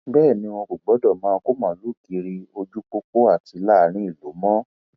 bẹẹ ni wọn kò gbọdọ máa kó màálùú kiri ojú pópó àti láàrin ìlú mọ